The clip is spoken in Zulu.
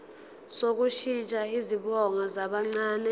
sokushintsha izibongo zabancane